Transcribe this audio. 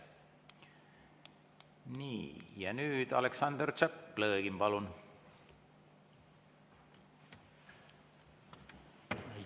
Nii, ja nüüd Aleksander Tšaplõgin, palun!